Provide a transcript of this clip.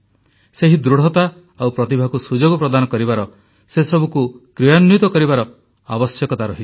ସେହି ଦୃଢ଼ତା ଆଉ ପ୍ରତିଭାକୁ ସୁଯୋଗ ପ୍ରଦାନ କରିବାର ସେସବୁକୁ କ୍ରିୟାନ୍ୱିତ କରିବାର ଆବଶ୍ୟକତା ରହିଛି